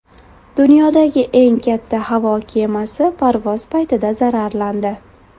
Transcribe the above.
Dunyodagi eng katta havo kemasi parvoz paytida zararlandi.